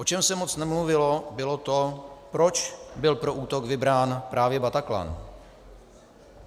O čem se moc nemluvilo, bylo to, proč byl pro útok vybrán právě Bataclan.